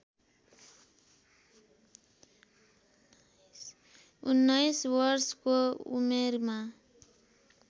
उन्नाइस वर्षको उमेरमा